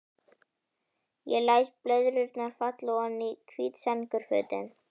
Ég læt blöðrurnar falla oní hvít sængurfötin.